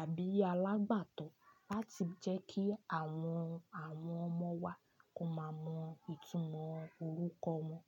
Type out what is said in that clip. àbí alágbàtọ̀ láti jẹ́ kí àwọn, àwọn ọmọ wa kọn máa mọ ìtumọ̀ orúkọ wọn.